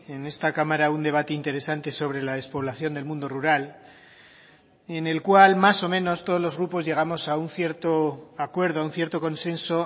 en esta cámara un debate interesante sobre la despoblación del mundo rural en el cual más o menos todos los grupos llegamos a un cierto acuerdo a un cierto consenso